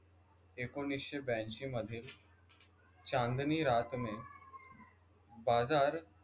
ऐकोनिसशे ब्यांशी मध्ये चाँदनी रात में बाजार